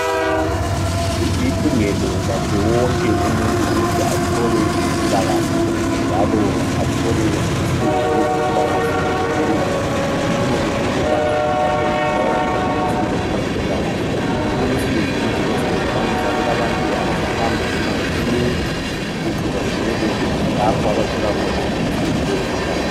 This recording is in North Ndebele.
Kulilungelo lakhe wonke umuntu ukuthi athole impilakahle njalo athole usizo lwezempilakahle, lula afinyelele, lula lapho okutholakala khona usizo lwezempilakahle. Kulusizi ukuthi ngensuku zalamuhla ukuthi kulabantu abasahamba imango emide ukuthi bafinyelele lapha abathola khona usizo lozwempilakahle.